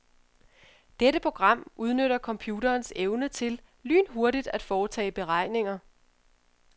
Dette program udnytter computerens evne til lynhurtigt at foretage beregninger.